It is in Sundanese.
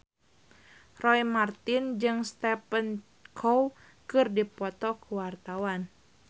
Roy Marten jeung Stephen Chow keur dipoto ku wartawan